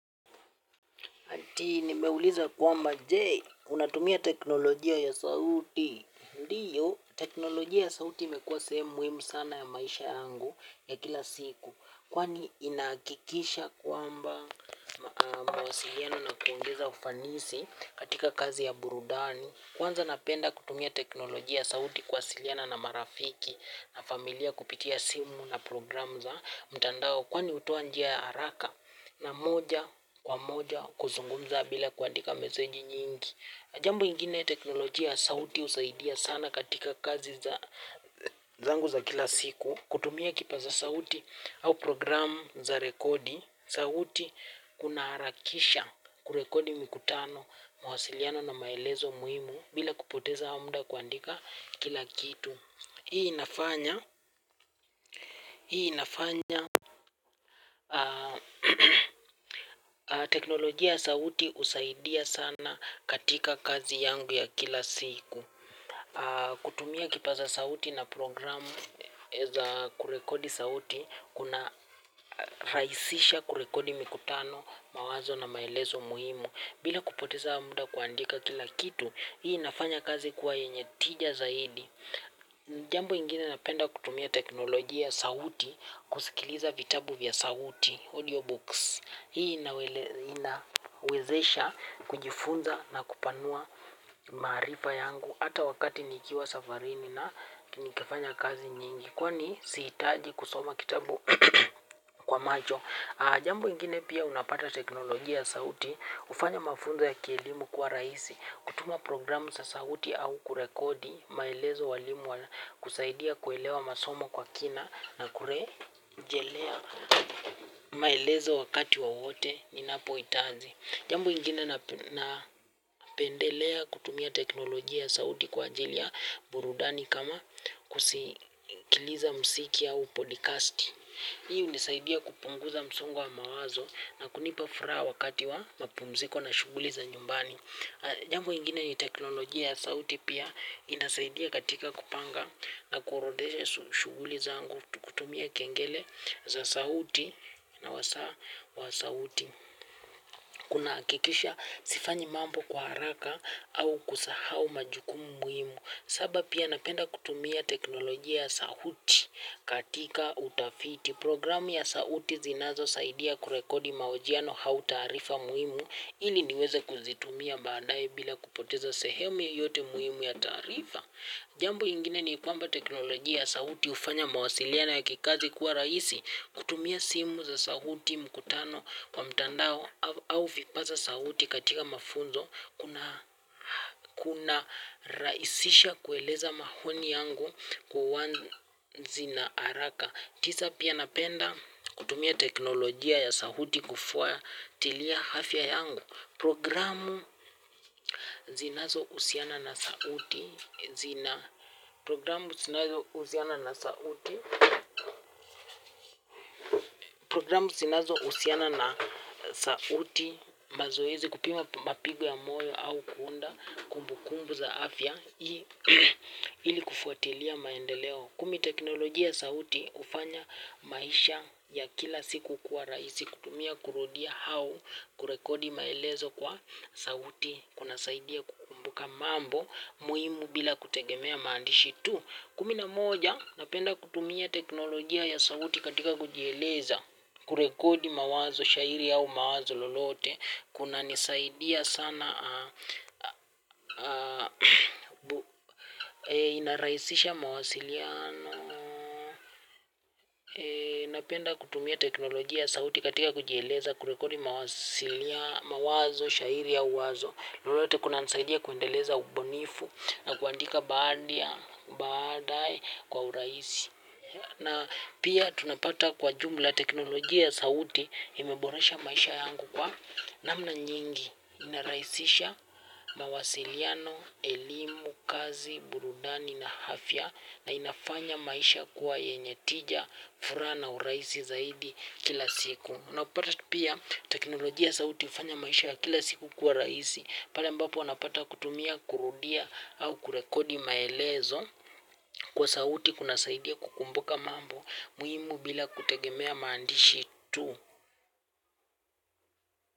Ati nimeuliza kwamba je unatumia teknolojia ya sauti. Ndio, teknolojia ya sauti imekua sehemu sana ya maisha yangu ya kila siku. Kwani, inahakikisha kwamba mawasiliano na kuongeza ufanisi katika kazi ya burudani. Kwanza napenda kutumia teknolojia ya sauti kuwasiliana na marafiki na familia kupitia simu na program za mtandao. Kwani hutoa njia ya haraka na moja kwa moja kuzungumza bila kuandika meseji nyingi na jambo ingine ya teknolojia sauti husaidia sana katika kazi za zangu za kila siku. Kutumia kipaza sauti au program za rekodi sauti kuna harakisha kurekodi mikutano mwasiliano na maelezo muhimu bila kupoteza muda kuandika kila kitu. Hii nafanya teknolojia ya sauti husaidia sana katika kazi yangu ya kila siku. Kutumia kipaza sauti na programu za kurekodi sauti. Kuna rahisisha kurekodi mikutano, mawazo na maelezo muhimu bila kupoteza muda kuandika kila kitu hii inafanya kazi kuwa yenye tija zaidi. Jambo ingine napenda kutumia teknolojia ya sauti. Kusikiliza vitabu vya sauti Audio books hii inawezesha kujifunza na kupanua maarifa yangu hata wakati nikiwa safarini na nikifanya kazi nyingi. Kwani sihitaji kusoma kitabu kwa macho. Jambo ingine pia unapata teknolojia ya sauti hufanya mafunza ya kielimu kwa rahisi. Kutuma programu sa sauti au kurekodi maelezo walimu kusaidia kuelewa masomo kwa kina na kurejelea maelezo wakati wawote ni napoitaji. Jambo ingine napendelea kutumia teknolojia ya sauti kwa ajili ya burudani kama kusikiliza mziki au podcast. Hii hunisaidia kupunguza msongo wa mawazo na kunipa furaha wakati wa mapumziko na shughuliza nyumbani. Jambo ingine ni teknolojia ya sauti pia inasaidia katika kupanga na kuorodhesha shughuli zangu kutumia kengele za sauti na wasaa wa sauti. Kuna hakikisha sifanyi mambo kwa haraka au kusahau majukumu muhimu. Saba pia napenda kutumia teknolojia ya sauti katika utafiti. Programu ya sauti zinazo saidia kurekodi maojiano au taarifa muhimu ili niweze kuzitumia badae bila kupoteza sehemu yoyote muhimu ya taarifa. Jambo ingine ni kwamba teknolojia sauti hufanya mawasiliano ya kikazi kuwa rahisi kutumia simu za sauti mkutano kwa mtandao au vipaza sauti katika mafunzo. Kuna rahisisha kueleza maoni yangu uwazi na haraka. Tisa pia napenda kutumia teknolojia ya sauti kufuatilia afya yangu programu zinazo husiana na sauti mazoezi kupima mapigo ya moyo au kuunda kumbukumbu za afya ili kufuatilia maendeleo. Kumi teknolojia ya sauti hufanya maisha ya kila siku kwa rahisi kutumia kurudia au kurekodi maelezo kwa sauti kuna saidia kukumbuka mambo muhimu bila kutegemea maandishi tu. Kumi na moja napenda kutumia teknolojia ya sauti katika kujieleza kurekodi mawazo shairi au mawazo lolote kuna nisaidia sana inarahisisha mawasiliano. Napenda kutumia teknolojia ya sauti katika kujieleza kurekodi mawasiliano mawazo, shairi au wazo lolote kunanisaidia kuendeleza ubunifu na kuandika baadae kwa urahisi. Na pia tunapata kwa jumla teknolojia ya sauti imeborasha maisha yangu kwa namna nyingi inaraisisha mawasiliano, elimu, kazi, burudani na afya na inafanya maisha kuwa yenye tija, furana u rahisi zaidi kila siku na kupata tu pia teknolojia ya sauti hufanya maisha ya kila siku kuwa rahisi pale mbapo wanapata kutumia, kurudia au kurekodi maelezo kwa sauti kuna saidia kukumbuka mambo muhimu bila kutegemea maandishi tu.